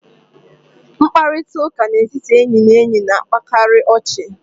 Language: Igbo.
Mkparịta ụka n'etiti enyị na enyi na-akpakarị ọchị.